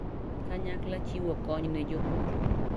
Kanyakla chiwo kony ne jopur.